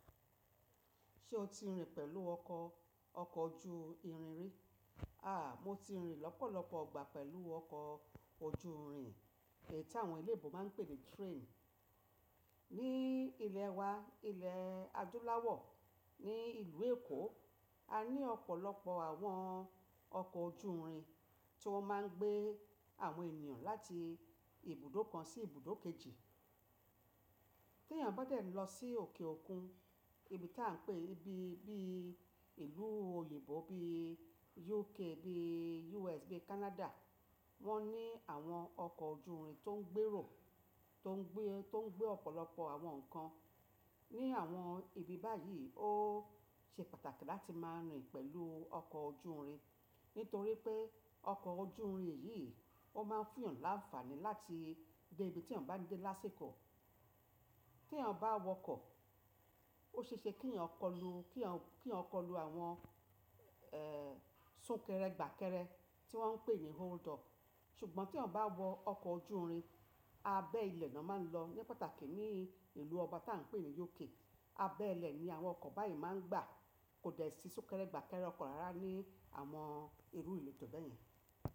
Ṣé o ti rìn pẹ̀lú ọkọ̀ ojú irin rí? Àà, mo ti rìn lọ́pọ̀lọpọ̀ igbà pẹ̀lú ọkọ̀ ojú irin èyí tí àwọn eléèbò máa ń pè ní train. Ní ilẹ̀ wa, ilẹ̀ adúláwọ̀, ní ìlú Èkó, a ní ọ̀pọ̀lọpọ̀ àwọn ọkọ̀ ojú irin tí wọ́n máa ń gbé àwọn ènìyàn láti ibùdó kan sí ibùdó kejì. Tí ènìyàn bá dẹ̀ lọ sí òkè òkun, ibi tí à ń pè bíi ìlú òyìnbó bíi UK, bíi US, bíi Canada, wọ́n ní àwọn ọkọ̀ ojú irin tó ń gbèrò,, tó ń gbé ọ̀pọ̀lọpọ̀ àwọn nǹkan. Ní àwọn ibi báyìí, ó ṣe pàtàkì láti máa rìn pẹ̀lú ọkọ̀ ojú irin nítorí pé ọkọ̀ ojú irin yìí ó máa fún ènìyàn láńfààní láti dé ibi tí ènìyàn bá ń dé lásiko. Tí ènìyàn bá wọ ọkọ̀, ó ṣe é ṣe kí ènìyàn kọlu àwọn, súnkẹrẹ gbàkẹrẹ tí wọ́n ń pè ní hold up. Ṣùgbọ́n tí ènìyàn bá wọ ọkọ̀ ojú irin, abẹ́ ilẹ̀ ni won máa ń lọ. Ní pàtàkì ní ìlú ọba tí à ń pè ní UK, abẹ́ ilẹ̀ ni àwọn ọkọ̀ báyìí máa ń gbà. Kò dẹ̀ sí súnkẹrẹ gbàkẹrẹ ọkọ̀ rárá ní àwọn irù ìlú tó beyẹn.